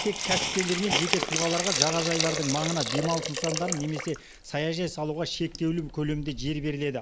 тек кәсіпкерлер мен жеке тұлғаларға жағажайлардың маңына демалыс нысандарын немесе саяжай салуға шектеулі көлемде жер беріледі